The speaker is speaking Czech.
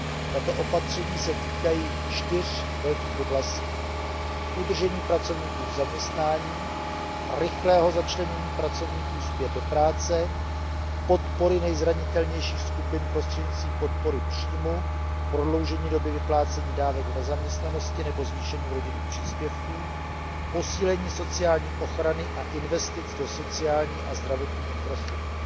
Tato opatření se týkají čtyř velkých oblastí udržení pracovníků v zaměstnání, rychlého začlenění pracovníků zpět do práce, podpory nejzranitelnějších skupin prostřednictvím podpory příjmu, prodloužení doby vyplácení dávek v nezaměstnanosti nebo zvýšení rodinných příspěvků a posílení sociální ochrany a investic do sociálních a zdravotních infrastruktur.